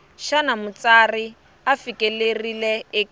xana mutsari u fikelerile eku